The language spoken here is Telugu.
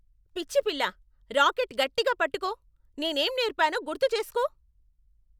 పిచ్చి పిల్లా. రాకెట్ గట్టిగా పట్టుకో. నేనేం నేర్పానో గుర్తుచేస్కో.